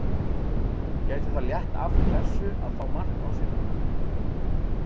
Gæti það létt af pressu að fá á sig mark núna?